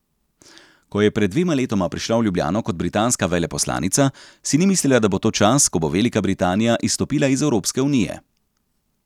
Ko je pred dvema letoma prišla v Ljubljano kot britanska veleposlanica, si ni mislila, da bo to čas, ko bo Velika Britanija izstopila iz Evropske unije.